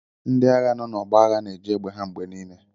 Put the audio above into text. Ndị agha nọ n'ọgbọ agha na-eji egbe ha mgbe niile